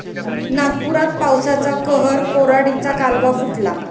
नागपुरात पावसाचा कहर, कोराडीचा कालवा फुटला